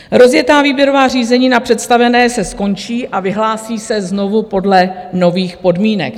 Rozjetá výběrová řízení na představené se skončí a vyhlásí se znovu podle nových podmínek.